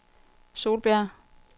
Solbjerg